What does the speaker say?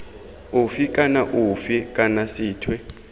ofe kana ofe kana sethwe